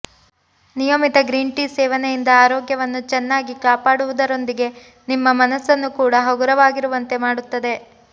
ನಿಯಮಿತ green tea ಸೇವನೆಯಿಂದ ಆರೋಗ್ಯವನ್ನು ಚೆನ್ನಾಗಿ ಕಾಪಾಡುವುದರೊಂದಿಗೆ ನಿಮ್ಮ ಮನಸ್ಸನ್ನು ಕೂಡ ಹಗುರವಾಗಿರುವಂತೆ ಮಾಡುತ್ತದೆ